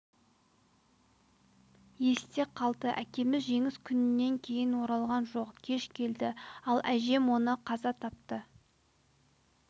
есте қалды әкеміз жеңіс күнінен кейін оралған жоқ кеш келді ал әжем оны қаза тапты